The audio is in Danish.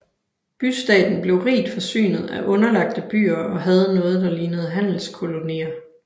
Bystaten blev rigt forsynet af underlagte byer og havde noget der lignede handelskolonier